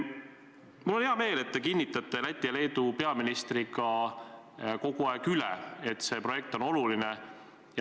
Mul on hea meel, et te kinnitate koos Läti ja Leedu peaministriga kogu aeg üle, et see projekt on oluline.